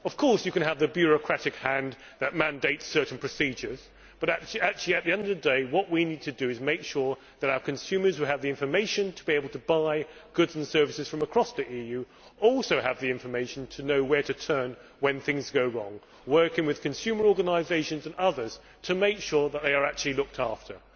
Of course you can have the bureaucratic hand that mandates certain procedures, but at the end of the day what we need to do is make sure that our consumers who have the information to be able to buy goods and services from across the EU also have the information to know where to turn when things go wrong, working with consumer organisations and others to make sure they are actually looked after.